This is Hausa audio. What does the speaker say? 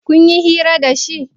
Kunyi hira da shi?